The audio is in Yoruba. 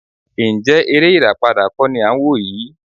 Ǹjẹ́ eré ìràpadà kọ́ ni à ń wò yìí?